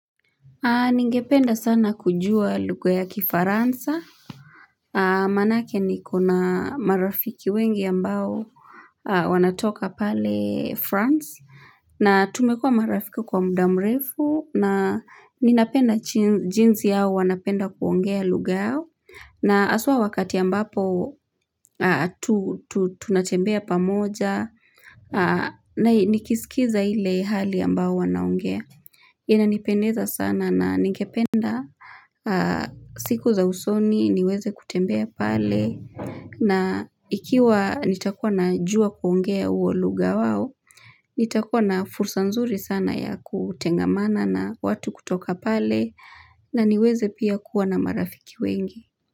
Ningependa sana kujua lugha ya kifaransa. Maanake niko na marafiki wengi ambao wanatoka pale France. Na tumekua marafiki kwa mdamrefu. Na ninapenda jinsi yao wanapenda kuongea lugha yao. Na haswa wakati ambapo tunatembea pamoja. Nikisikiza ile hali ambao wanaongea. Ina nipendeza sana na ningependa siku za usoni niweze kutembea pale na ikiwa nitakuwa na juwa kuongea uo lugha wao nitakuwa na fursa nzuri sana ya kutengamana na watu kutoka pale na niweze pia kuwa na marafiki wengi.